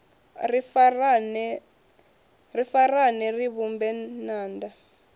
ri farane ri vhumbe ṅanda